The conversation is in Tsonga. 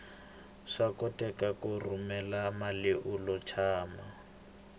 swa koteka ku rhumela mali ulo tshama